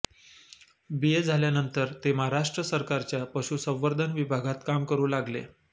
बी A झाल्यानंतर ते महाराष्ट्र सरकारच्या पशुसंवर्धन विभागात काम करू लागले